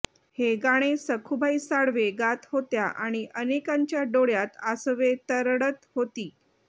हे गाणं सखूबाई साळवे गात होत्या आणि अनेकांच्या डोळ्यात आसवे तरळत होती